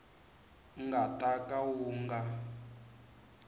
nga ta ka wu nga